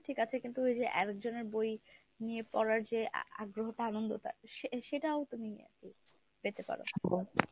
ঠিক আছে কিন্তু ওই যে একজনের বই নিয়ে পড়ার যে আগ্রহটা আনন্দটা সে~ সেটাও তুমি পেতে পারো।